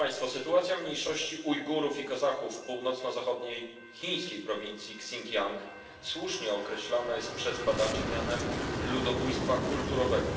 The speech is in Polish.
Sytuacja mniejszości Ujgurów i Kazachów w północno zachodniej chińskiej prowincji Sinciang słusznie określana jest przez badaczy mianem ludobójstwa kulturowego.